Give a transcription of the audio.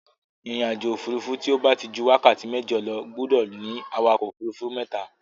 Ìrìnàjò òfuurufú tí ó bá ti ju wákàtí mẹ́jọ lọ gbúdọ̀ ní awakọ̀ òfuurufú mẹ́ta